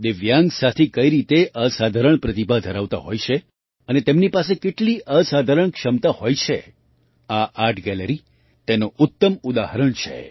દિવ્યાંગ સાથી કઈ રીતે અસાધારણ પ્રતિભા ધરાવતા હોય છે અને તેમની પાસે કેટલી અસાધારણ ક્ષમતા હોય છે આ આર્ટ ગેલેરી તેનું ઉત્તમ ઉદાહરણ છે